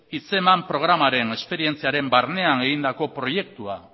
hitzeman programaren esperientziaren barnean egindako proiektua